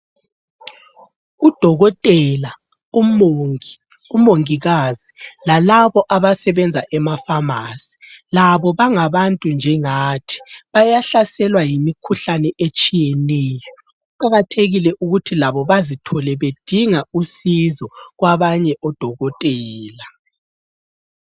Udokotela, umongi, umongikazi lalaba abasebenza emapharmacy labo bangabantu njengathi, bayahlaselwa yimkhuhlane etshiyeneyo. Kuqakathekile ukuthi labo bazithole bedinga usizo kwabanye odokotela.